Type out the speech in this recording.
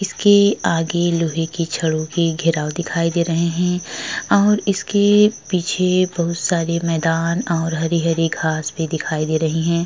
इसके आगे लोहे की छड़ों की घेराव दिखाई दे रहे हैं और इसके पीछे बहोत सारे मैदान और हरी-हरी घास भी दिखाई दे रही हैं।